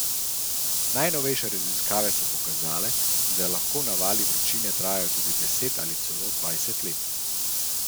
Najnovejše raziskave so pokazale, da lahko navali vročine trajajo tudi deset ali celo dvajset let.